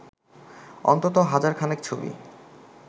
অন্তত হাজার খানেক ছবি